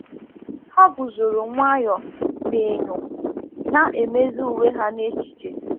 Ha guzoro nwayọ n’enyo, na-emezi uwe ha n’echiche.